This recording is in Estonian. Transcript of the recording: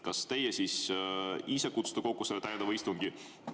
Kas teie siis ise kutsute kokku selle täiendava istungi?